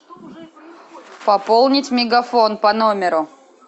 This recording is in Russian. пополнить мегафон по номеру